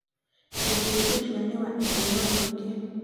mũthuuri ũcio nĩ wa itĩĩo nyingĩ